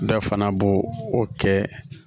Dɔ fana bo o kɛ